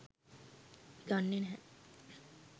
අපි දන්නේ නෑ.